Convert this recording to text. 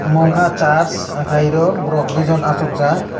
mo ungkha church hwnkhe iro borok dui jon achukjak.